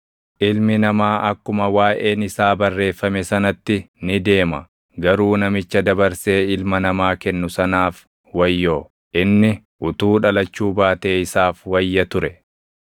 Ilmi Namaa akkuma waaʼeen isaa barreeffame sanatti ni deema. Garuu namicha dabarsee Ilma Namaa kennu sanaaf wayyoo! Inni utuu dhalachuu baatee isaaf wayya ture.”